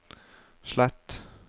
slett